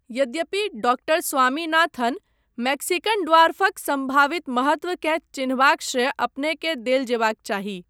यद्यपि, doctor Swaminathan, Mexican ड्वार्फक सम्भावित महत्वकेँ चिन्हबाक श्रेय अपनेकेँ देल जेबाक चाही।